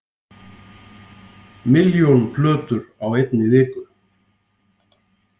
Milljón plötur á einni viku